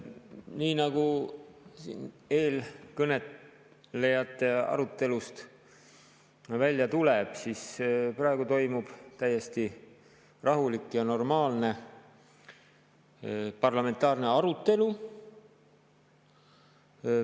Nii nagu eelkõnelejate arutelust välja tuleb, toimub praegu täiesti rahulik ja normaalne parlamentaarne arutelu.